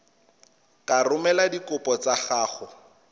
ka romela dikopo tsa gago